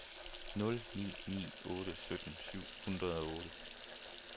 nul ni ni otte sytten syv hundrede og otte